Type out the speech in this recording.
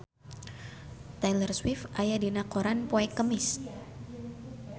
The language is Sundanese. Taylor Swift aya dina koran poe Kemis